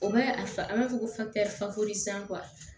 O b'a a b'a fɔ ko